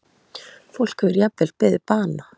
Fólk hefur jafnvel beðið bana